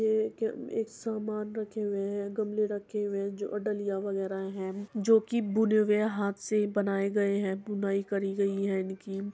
ये एक एक सामान रखे हुए है। गमले रखे हुए है जो अ डलिया वगेरा है जो कि बुने हुए हाथ से बनाये गए है। बुनाई करी गई है इनकी।